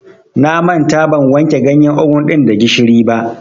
Na manta ban wanke ganyar ogun ɗin da gishiri ba.